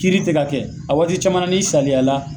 Kiri tɛ ka kɛ , a waati caman n'i saliaya la